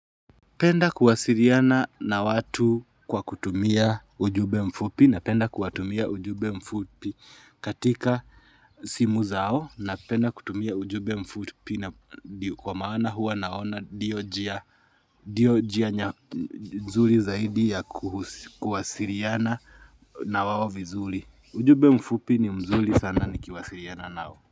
Penda kuwasiliana na watu kwa kutumia ujumbe mfupi napenda kuwatumia ujumbe mfupi katika simu zao napenda kutumia ujumbe mfupi na kwa maana huwa naona ndiyo njia ndiyo njia nya nzuli zaidi ya kuwasiliana na wao vizuri. Ujumbe mfupi ni mzuri sana ni kiwasiliana nao.